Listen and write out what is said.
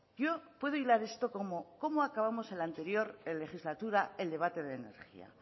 yo puedo hilar esto como cómo acabamos enla anterior legislatura el debate de energía